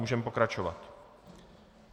Můžeme pokračovat.